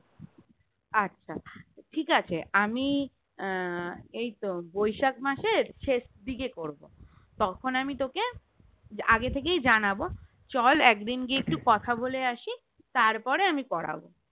আচ্ছা ঠিকাছে আমি আহ এইতো বৈশাখ মাসের শেষ দিকে করবো তখন আমি তোকে আগে থেকেই জানাবো চল একদিন গিয়ে একটু কথা বলে আসি তারপরে আমি করাবো